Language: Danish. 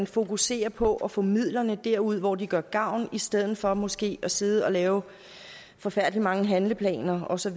fokuserer på at få midlerne derud hvor de gør gavn i stedet for måske at sidde og lave forfærdelig mange handleplaner og så